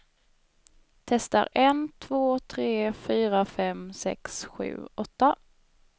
Testar en två tre fyra fem sex sju åtta.